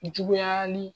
Juguyali